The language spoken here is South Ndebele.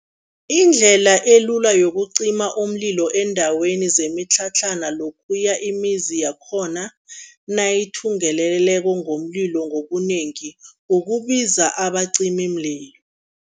Indlela elula yokucima umlilo eendaweni zemitlhatlhana lokhuya imizi yakhona nayithungeleleko ngomlilo ngobunengi, ukubiza abacimimlilo.